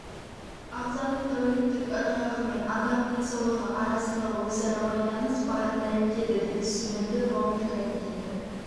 ағзаның тәуліктік ырғағы мен адам денсаулығы арасында өзара байланыс барын дәлелдеді деп түсіндірді нобель комитеті